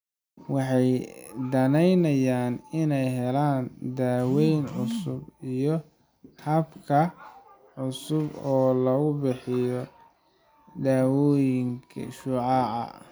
Waxay danaynayaan inay helaan daawayn cusub iyo habab cusub oo lagu bixiyo dawooyinka iyo shucaaca.